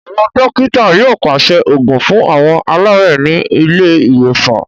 Àwọn dọ́kítá yóò pàṣẹ òògùn fún àwọn aláàárẹ̀ ní ilé ìwòsàn.